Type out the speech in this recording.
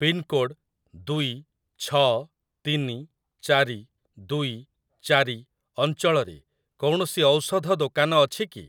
Pincode ଦୁଇ ଛଅ ତିନି ଚାରି ଦୁଇ ଚାରି ଅଞ୍ଚଳରେ କୌଣସି ଔଷଧ ଦୋକାନ ଅଛି କି?